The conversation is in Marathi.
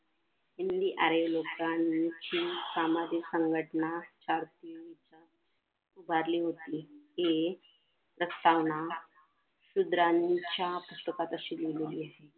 सामाजिक संघटना सारखे उभारली होती ते हि प्रस्तावना शूद्रांच्या श्लोकात अशी लिहिलेली आहे उभारली होती.